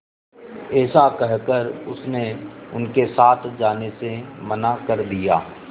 ऐसा कहकर उसने उनके साथ जाने से मना कर दिया